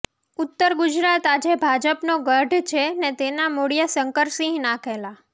ઉત્તર ગુજરાત આજે ભાજપનો ગઢ છે ને તેનાં મૂળિયાં શંકરસિંહ નાંખેલાં